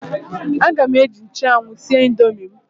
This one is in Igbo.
Aga m eji nchụanwụ sie indomi m.